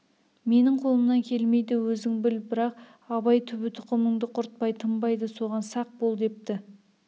менің қолымнан келмейді өзің біл бірақ абай түбі тұқымыңды құртпай тынбайды соған сақ бол депті